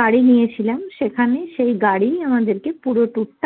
গাড়ি নিয়েছিলাম সেখানে সেই গাড়ি আমাদেরকে পুরো tour টা